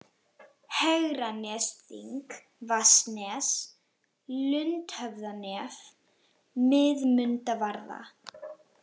Hegranesþing, Vatnsnes, Lundhöfðanef, Miðmundavarða